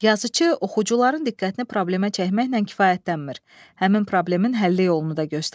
Yazıçı oxucuların diqqətini problemə çəkməklə kifayətlənmir, həmin problemin həlli yolunu da göstərir.